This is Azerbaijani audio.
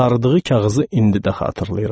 Saradığı kağızı indi də xatırlayıram.